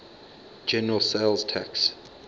general sales tax